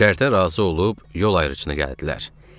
Şərtə razı olub yol ayrıcına gəldilər.